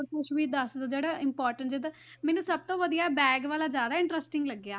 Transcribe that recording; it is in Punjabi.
ਹੋਰ ਕੁਛ ਵੀ ਦੱਸ ਦਓ ਜਿਹੜਾ important ਜਿੱਦਾਂ ਮੈਨੂੰ ਸਭ ਤੋਂ ਵਧੀਆ bag ਵਾਲਾ ਜ਼ਿਆਦਾ interesting ਲੱਗਿਆ